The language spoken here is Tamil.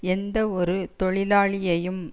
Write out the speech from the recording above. எந்த ஒரு தொழிலாளியையும்